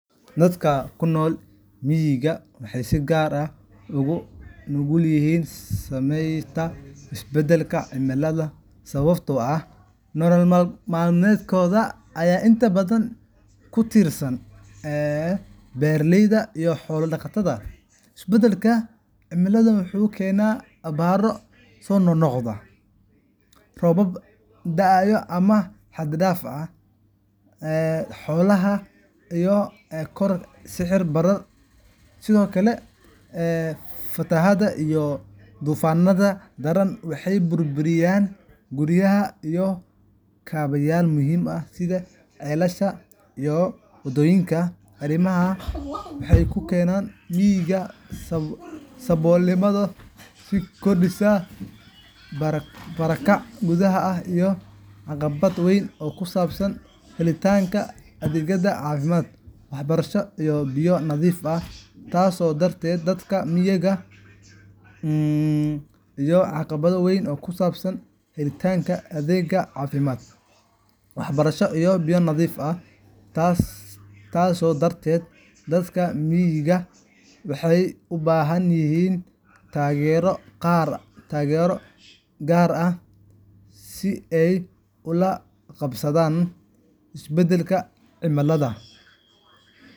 Dadka ku nool miyiga waxay si gaar ah ugu nugul yihiin saameynta isbeddelka cimilada sababtoo ah nolol maalmeedkooda ayaa inta badan ku tiirsan beeraleynimo iyo xoolo-dhaqasho. Isbeddelka cimilada wuxuu keenaa abaaro soo noqnoqda, roobab daahaya ama xad-dhaaf ah, taasoo sababa yaraanta dalagga, dhimashada xoolaha, iyo kororka sicir-bararka cuntada. Sidoo kale, fatahaadaha iyo duufaannada daran waxay burburiyaan guryaha iyo kaabayaal muhiim ah sida ceelasha iyo wadooyinka. Arrimahan waxay ku keenaan miyiga saboolnimo sii kordhaysa, barakac gudaha ah, iyo caqabad weyn oo ku saabsan helitaanka adeegyada caafimaad, waxbarasho iyo biyo nadiif ah. Taas darteed, dadka miyiga waxay u baahan yihiin taageero gaar ah si ay ula qabsadaan isbeddelka cimilada.